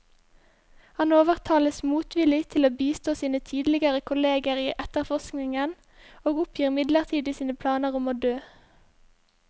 Han overtales motvillig til å bistå sine tidligere kolleger i etterforskningen, og oppgir midlertidig sine planer om å dø.